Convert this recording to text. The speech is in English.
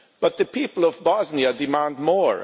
But the people of Bosnia are demanding more.